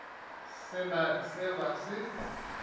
se na se ba se